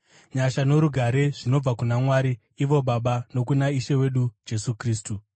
Nyasha norugare zvinobva kuna Mwari ivo Baba nokuna Ishe wedu Jesu Kristu.